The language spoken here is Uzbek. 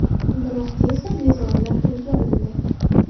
Biroq, tezda bezorilar qo‘lga olindi.